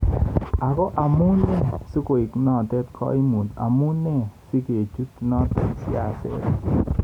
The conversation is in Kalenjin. Ago amu nee sikoek notok kaimuut, amu nee sikechute notok siaset?